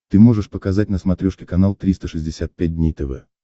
ты можешь показать на смотрешке канал триста шестьдесят пять дней тв